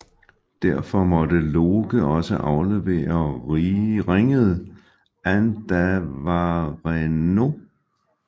Derfor måtte Loke også aflevere ringet Andvarenaut